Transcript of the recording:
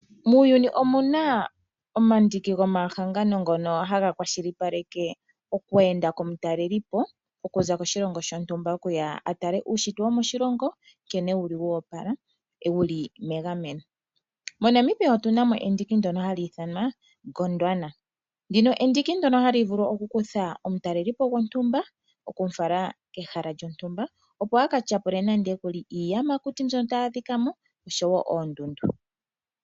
Muuyuni omuna omadhiki gomahannano ngono haga kwashilipaleke okwe enda komutalelipo okuza koshilongo shontumba okuya atale uushitwe wo moshilongo nkene wuli wo opala wuli megameno. MoNamibia otuna mo endiki ndono hali ithanwa Gondwana. Ndino endiki ndono hali vulu oku kutha omutalelipo gontumba okumu fala kehala lyontumba opo aka tyapule nande okuli iiyamakuti mbyono tayi adhika mooshowo oondundu.